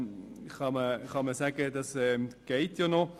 Buchstabe a geht noch.